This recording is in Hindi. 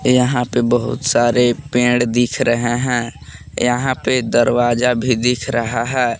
यहां पे बहुत सारे पेड़ दिख रहे हैं यहां पे दरवाजा भी दिख रहा है।